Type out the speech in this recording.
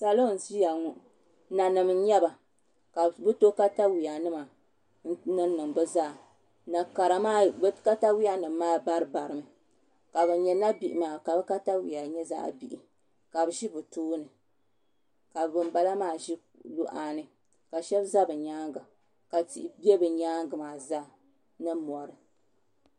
Salo n ʒiya ŋo nanim n nyɛba ka bi to katawiya nima n niŋ niŋ bi zaa na kara maa bi katawiya maa bari bari mi ka bin nyɛ nabihi maa ka bi katawiya nyɛ zaɣ bihi ka bi ʒi bi tooni ka binbala maa ʒi luɣa ni ka shab ʒɛ bi nyaanga ka tihi ʒɛ bi nyaangi maa zaa ni mori